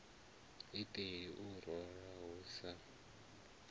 iṱeli u lora hu sa